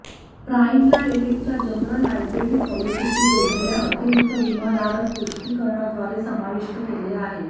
प्राइमला एलिटच्या general liability पॉलिसीशी जोडलेल्या अतिरिक्त विमाधारक पुष्टीकरणाद्वारे समाविष्ट केले आहे